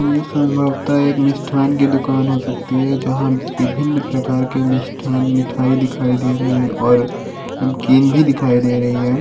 यह संभवता एक मिष्ठाण की दुकान हो सकती है जहाँ विभिन्न प्रकार के मिष्ठाण मिठाई दिखाई दे रहे है और नमकीन भी दिखाई दे रही है।